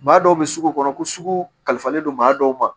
Maa dɔw bɛ sugu kɔnɔ ko sugu kalifalen don maa dɔw ma